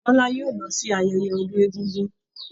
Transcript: Bọ́lá yóò lọ sí ayẹyẹ ọdún egúngún.